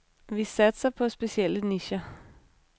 Vi satser på specielle nicher.